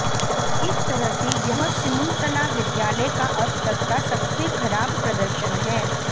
एक तरह से यह सिमुलतला विद्यालय का अब तक का सबसे खराब प्रदर्शन है